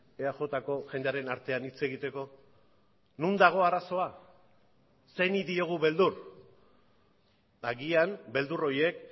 eajko jendearen artean hitz egiteko non dago arazoa zeini diogu beldur agian beldur horiek